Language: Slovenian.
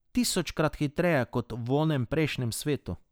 Tisočkrat hitreje kot v onem prejšnjem svetu.